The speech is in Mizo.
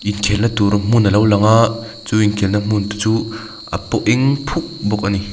inkhelh na tur hmun alo lang a chu inkhelh na hmun te chu a paw eng phuk bawk ani.